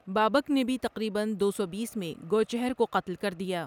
بابک نے بھی تقریبًا دو سو بیس میں گوچھر کو قتل کردیا ۔